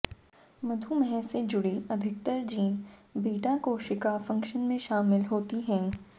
मधुमेह से जुड़ी अधिकतर जीन बीटा कोशिका फंक्शन में शामिल होती हैं